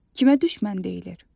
Kimə düşmən deyilir?